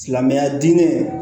Silamɛya diinɛ